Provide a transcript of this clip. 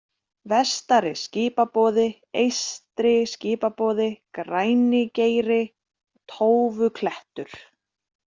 Vestari-Skipaboði, Eystri-Skipaboði, Grænigeiri, Tófuklettur